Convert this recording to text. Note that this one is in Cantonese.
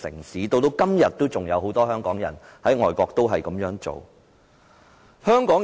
時至今天，很多身在外國的香港人依然這樣做。